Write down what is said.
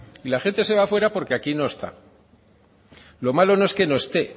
y la gente se va fuera porque aquí no está lo malo no es que no esté